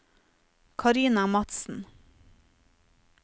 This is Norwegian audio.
Carina Madsen